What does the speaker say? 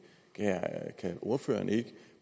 kan ordføreren ikke